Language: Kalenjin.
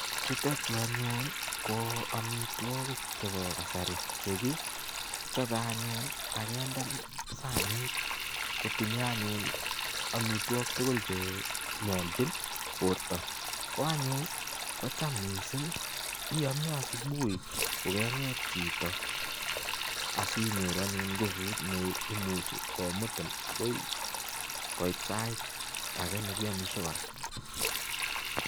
Chuto chu anyun ko amitwogik chebo kasari chegichobe anyun ak kende sanit kotinye anyun amitwog tugul che nyolchin borto. Koanyun iame asubuhi kogenget chito asinyoru anyun nguput ne imuchi komutin agoi koit sait age nekiamisie kora.